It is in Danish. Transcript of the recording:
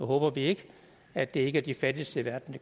håber ikke at det er de fattigste i verden